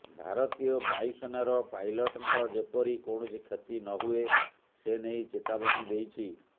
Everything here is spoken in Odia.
ଭାରତୀୟ ବାୟୁସେନାର ପାଇଲଟ୍ଙ୍କ ଯେପରି କୌଣସି କ୍ଷତି ନହୁଏ ସେନେଇ ଚେତାବନୀ ଦେଇଛି